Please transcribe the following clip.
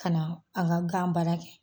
Ka na a ka gan baara kɛ